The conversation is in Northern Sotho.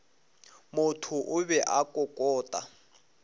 motho o be a kokota